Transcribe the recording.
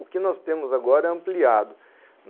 O que nós temos agora é ampliado.